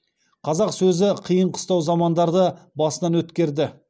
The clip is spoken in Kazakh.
қазақ сөзі қиын қыстау замандарды басынан өткерді